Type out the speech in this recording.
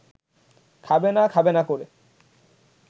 খাবে না, খাবে না করে